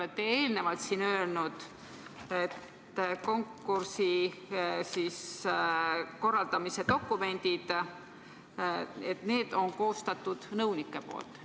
Te olete siin eelnevalt öelnud, et konkursi korraldamise dokumendid on koostatud nõunike poolt.